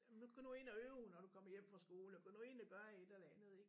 Nu gå nu ind og øv når du kommer hjem fra skole og gå nu ind og gør et eller andet ik